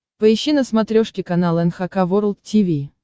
поищи на смотрешке канал эн эйч кей волд ти ви